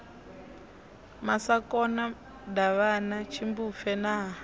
masakona davhana tshimbupfe na ha